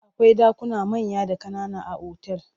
Akwai ɗakuna manya da ƙanana a otal.